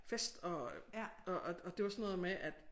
Fest og og og og det var sådan noget med at